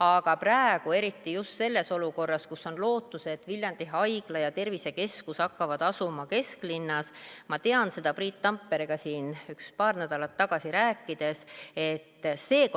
Aga praegu eriti just selles olukorras, kus on lootus, et Viljandi haigla ja tervisekeskus hakkavad asuma kesklinnas,